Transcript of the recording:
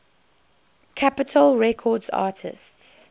capitol records artists